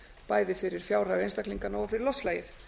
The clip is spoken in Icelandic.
bæði fyrir fjárhag einstaklinganna og fyrir loftslagið